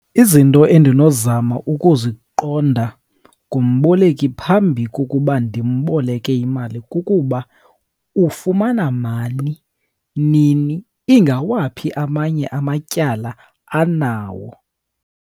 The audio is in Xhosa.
Izinto endinozama ukuziqonda kumboleki phambi kokuba ndimboleke imali kukuba ufumana mali nini, ingawaphi amanye amatyala anawo.